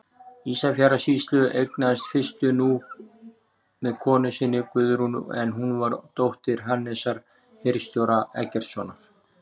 Ísafjarðarsýslu, eignaðist fyrstur Núp með konu sinni, Guðrúnu, en hún var dóttir Hannesar hirðstjóra Eggertssonar.